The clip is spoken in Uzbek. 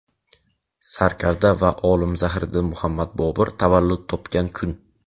sarkarda va olim Zahiriddin Muhammad Bobur tavallud topgan kun.